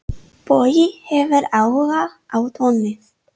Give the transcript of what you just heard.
Bogi hefur áhuga á tónlist.